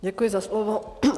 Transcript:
Děkuji za slovo.